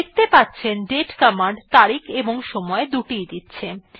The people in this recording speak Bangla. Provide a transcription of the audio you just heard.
দেখতে পাচ্ছেন দাতে কমান্ড তারিখ এবং সময় দুটি ই দিচ্ছে